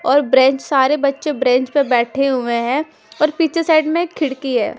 और ब्रेंच सारे बचे ब्रेंच पे बेठे हुए हैं और पीछे साइड में एक खिड़की है।